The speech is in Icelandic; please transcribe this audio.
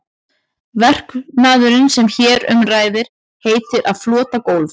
Verknaðurinn sem hér um ræður heitir að flota gólf.